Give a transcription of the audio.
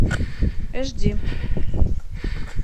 эш ди